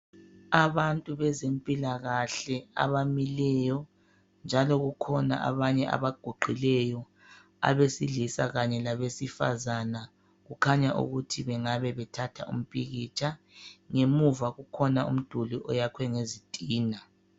Abantu bezempilakahle abamileyo njalo kukhona abanye abaguqileyo abesilisa kanye labesifazana kukhanya ukuthi bengabe bethatha umpikitsha. Ngemuva kukhona umduli oyakhwe ngezitina.